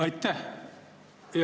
Aitäh!